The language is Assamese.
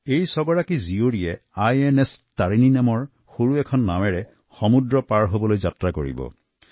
এই ছগৰাকী কন্যা এখন সৰু নৌকাআইএনএছ তাৰিণী লৈ সমুদ্ৰ ভ্ৰমণ কৰিব